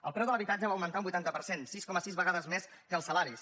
el preu de l’habitatge va augmentar un vuitanta per cent sis coma sis vegades més que els salaris